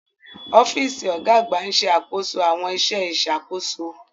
Ọ́fíìsì ọ̀gá àgbà ń ṣe àkóso àwọn iṣẹ́ ìṣàkóso.